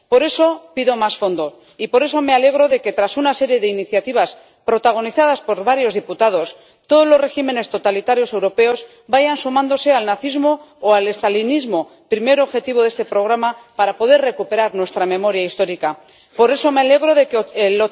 Por eso pido más fondos y, por eso, me alegro de que, tras una serie de iniciativas protagonizadas por varios diputados, todos los regímenes totalitarios europeos vayan sumándose al nazismo o el estalinismo, primer objetivo de este programa para poder recuperar nuestra memoria. Por eso me alegro de que el